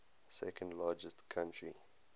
second largest country